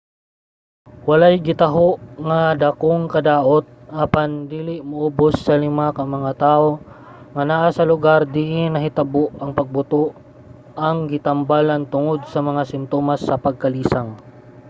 walay gitaho nga dagkong kadaot apan dili moubus sa lima ka mga tawo nga naa sa lugar diin nahitabo ang pagbuto ang gitambalan tungod sa mga simtomas sa pagkalisang